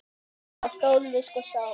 Þá stóðum við sko saman.